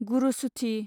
गुरसुथि